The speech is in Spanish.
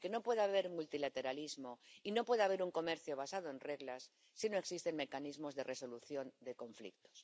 Porque no puede haber multilateralismo y no puede haber un comercio basado en reglas si no existen mecanismos de resolución de conflictos.